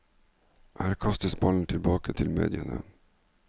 Her kastes ballen tilbake til mediene.